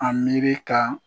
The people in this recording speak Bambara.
An miiri ka